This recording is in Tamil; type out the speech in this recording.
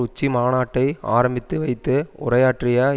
உச்சி மாநாட்டை ஆரம்பித்து வைத்து உரையாற்றிய